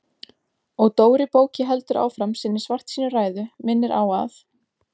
Og Dóri bóki heldur áfram sinni svartsýnu ræðu, minnir á að